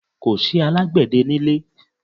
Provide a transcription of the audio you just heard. Kò sì alágbẹ̀dẹ nílé.